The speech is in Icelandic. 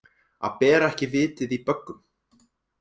Að bera ekki vitið í böggum